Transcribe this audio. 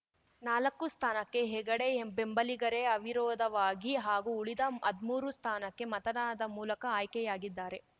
ನಾಲಕ್ಕು ಸ್ಥಾನಕ್ಕೆ ಹೆಗಡೆ ಬೆಂಬಲಿಗರೇ ಅವಿರೋಧವಾಗಿ ಹಾಗೂ ಉಳಿದ ಹದ್ಮೂರು ಸ್ಥಾನಕ್ಕೆ ಮತದಾನದ ಮೂಲಕ ಆಯ್ಕೆಯಾಗಿದ್ದಾರೆ